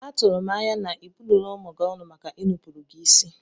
Atụrụ m anya na ịbụrọ ụmụ gị ọnụ maka inupụrụ gị isi?